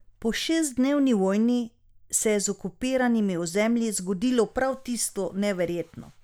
Po šestdnevni vojni se je z okupiranimi ozemlji zgodilo prav tisto neverjetno.